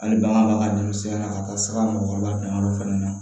Hali bagan b'a ka denmisɛnnin na ka taa sira mɔgɔkɔrɔba danyɔrɔ fana na